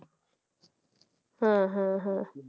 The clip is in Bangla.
হ্যাঁ হ্যাঁ হ্যাঁ